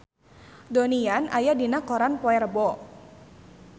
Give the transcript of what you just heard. Donnie Yan aya dina koran poe Rebo